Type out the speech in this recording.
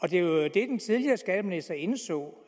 den tidligere skatteminister indså